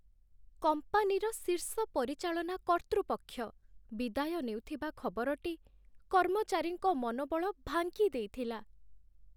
କମ୍ପାନୀର ଶୀର୍ଷ ପରିଚାଳନା କର୍ତ୍ତୃପକ୍ଷ ବିଦାୟ ନେଉଥିବା ଖବରଟି କର୍ମଚାରୀଙ୍କ ମନୋବଳ ଭାଙ୍ଗିଦେଇଥିଲା।